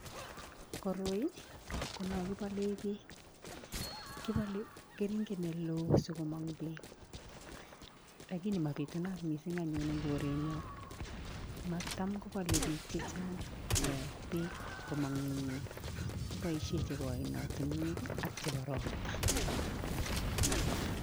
Koroi konoo kibolen beek kibolen keringet neloo sikomong beek lakini mabitunat mising anyun en korenyoon tam kobole biik jejaang eeh beek komong en ngweny kiboisien jebo oinotunwek ii AK ropta